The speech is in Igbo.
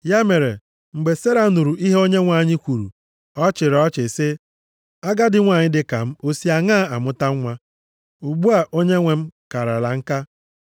Ya mere, mgbe Sera nụrụ ihe Onyenwe anyị kwuru, ọ chịrị ọchị sị, “Agadi nwanyị dịka m o si aṅaa amụta nwa, ugbu a onyenwe m karala nka?”